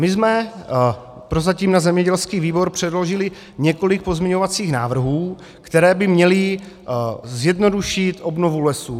My jsme prozatím na zemědělský výbor předložili několik pozměňovacích návrhů, které by měly zjednodušit obnovu lesů.